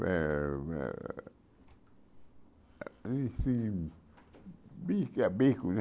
Eh eh bife bife a, né?